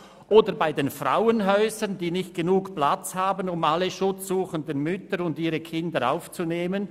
Oder bei den Frauenhäusern, die nicht genügend Platz haben, um alle schutzsuchenden Mütter und ihre Kinder aufzunehmen?